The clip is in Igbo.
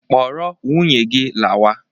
Kpọrọ nwunye gị lawa!